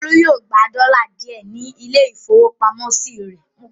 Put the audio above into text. Olú yóò gba dọ́là díẹ̀ ní ilé-ìfowópamọ́sí rẹ̀.